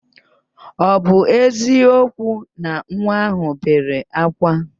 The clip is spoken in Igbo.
Ọ bụ eziokwu na nwa ahụ bere ákwá?